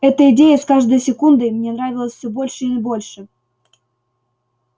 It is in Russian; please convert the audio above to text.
эта идея с каждой секундой мне нравилась все больше и больше